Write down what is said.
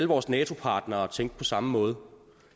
vores nato partnere tænkte på samme måde